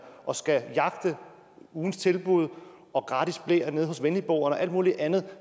og skal jagte ugens tilbud og gratis bleer hos venligboerne og alt muligt andet